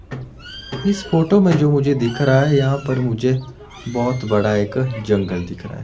इस फोटो में जो मुझे दिख रहा है यहां पर मुझे बहोत बड़ा एक जंगल दिख रहा है।